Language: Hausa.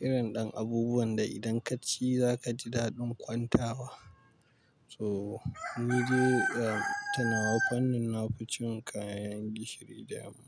Irin ɗan abubuwan da idan ka ci za ka ji daɗin kwanta wa. So, ni dai, ga, ta nawa fannin na fi cin kayan gishiri da yamma.